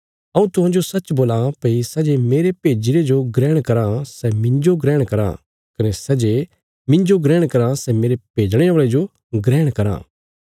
हऊँ तुहांजो सच बोलां भई सै जे मेरे भेज्जीरे जो ग्रहण कराँ सै मिन्जो ग्रहण कराँ कने सै जे मिन्जो ग्रहण कराँ सै मेरे भेजणे औल़े जो ग्रहण कराँ